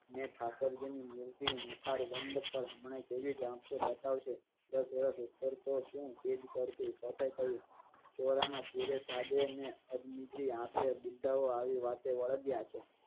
ને ઠાકોરજી ની મૂર્તિ મુખારવંદ પણ હમણાં કેવી જશે બતાવ શે કરો. ચોરા માં ધીરે સાદે ને અજી આંખે બુઢ્ઢાઓ આવી વાતે વળગ્યા છે.